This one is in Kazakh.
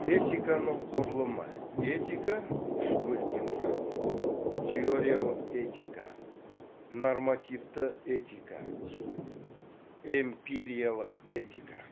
этиканың құрылымы этика үш бөліктен тұрады теориялық этика нормативті этика эмпириялық этика